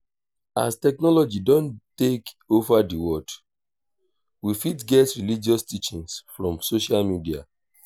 as technology don take over di world we fit get religious teaching from social media